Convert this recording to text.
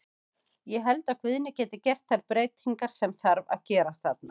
Ég held að Guðni geti gert þær breytingar sem þarf að gera þarna.